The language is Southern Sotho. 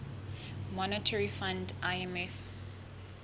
monetary fund imf